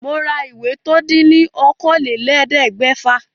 Mo ra ìwé tó dín ní okòólélẹ́ẹ̀ẹ́dẹ́gbẹ́fà